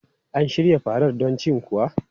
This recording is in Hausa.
An shirya farar don cin kuwa?